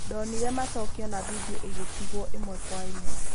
"Ndonire macokio na vindioigĩtigwo ĩmwe kwa imwe.